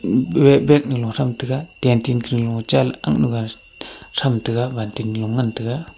bag nu lo tham taiga cantin cha ley tham aakk nu ga tham tega balting lo tham tega.